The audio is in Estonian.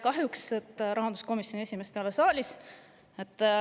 Kahjuks rahanduskomisjoni esimeest ei ole saalis.